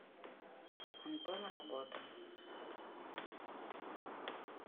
антон работа